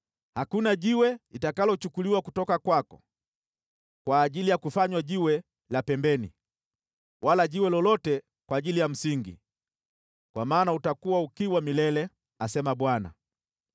Hakuna jiwe litakalochukuliwa kutoka kwako kwa ajili ya kufanywa jiwe la pembeni, wala jiwe lolote kwa ajili ya msingi, kwa maana utakuwa ukiwa milele,” asema Bwana .